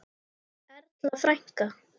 Erla frænka.